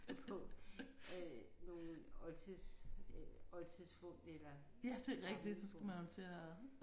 På øh nogle oltids oldtidsfund eller gamle fund